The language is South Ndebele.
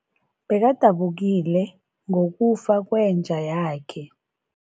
Bekadabukile ngokufa kwenja yakhe.